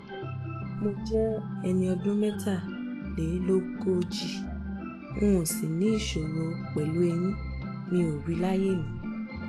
mo jẹ́ ẹni ọdún mẹ́tàlélógójì n ò sìvní ìṣòro pẹ̀lú ẹ̀yìn um mi rí láyé mi